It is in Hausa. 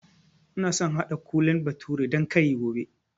Ina so in haɗa Kole bathure dan kari gobe